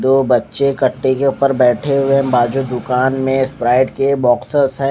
दो बच्चे कटते के ऊपर बेठे हुए है बाजू दूकान में स्प्राईट के बोक्सेस है।